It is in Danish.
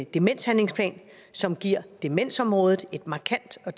demenshandlingsplan som giver demensområdet et markant og